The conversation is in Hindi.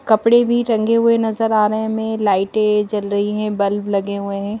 कपड़े भी रंगे हुए नजर आ रहे हैं हमें लाइटें जल रही हैं बल्ब लगे हुए हैं।